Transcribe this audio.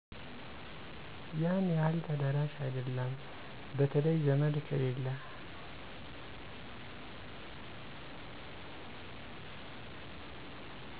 ያን ያህል ተደራሽ አይደለም በተለይ ዘመድ ከሌለ